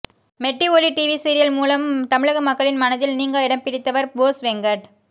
மெட்டி Oli TV serial மூலம் தமிழக மக்களின் மனதில் நீங்கா இடம் பிடித்தவர் போஸ் வெங்கட்